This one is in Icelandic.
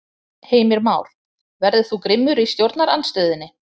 Heimir Már: Verður þú grimmur í stjórnarandstöðunni?